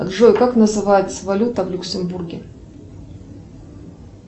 джой как называется валюта в люксембурге